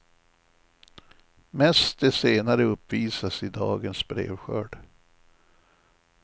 Mest det senare uppvisas i dagens brevskörd.